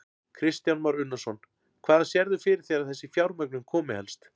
Kristján Már Unnarsson: Hvaðan sérðu fyrir þér að þessi fjármögnun komi helst?